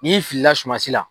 N'i filila sumansi la.